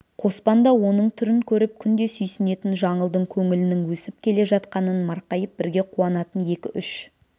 қоспан да оның түрін көріп күнде сүйсінетін жаңылдың көңілінің өсіп келе жатқанын марқайып бірге қуанатын екі-үш